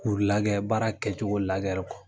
K'u lagɛ baara kɛcogo lagɛ ri kɔ.